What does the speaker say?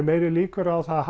meiri líkur á að